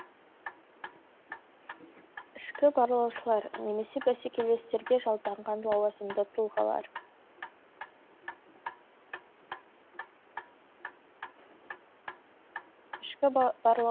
ішкі барлаушылар немесе бәсекелестерге жалданған лауазымды тұлғалар